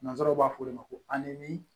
Nanzsaraw b'a fɔ olu ma ko